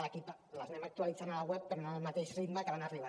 l’equip les anem actualitzant al web però no al mateix ritme que van arribant